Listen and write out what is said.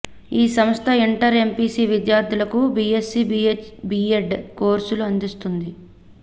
ఈ సంస్థ inter MPC విద్యార్థులకు బీఎస్సీ బీఎడ్ కోర్సు అందిస్తోంది